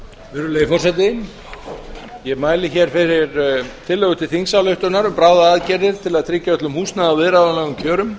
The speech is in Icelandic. virðulegi forseti ég mæli hér fyrir tillögu til þingsályktunar um bráðaaðgerðir til að tryggja öllum húsnæði á viðráðanlegum kjörum